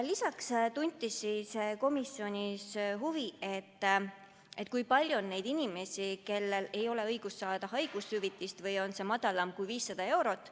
Lisaks tunti komisjonis huvi, kui palju on neid inimesi, kellel ei ole õigust saada haigushüvitist või on see väiksem kui 500 eurot.